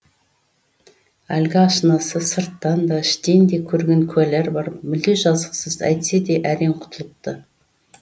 әлгі ашынасы сырттан да іштен де көрген куәлар бар мүлде жазықсыз әйтсе де әрең құтылыпты